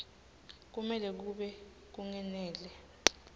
kumele kube kungenela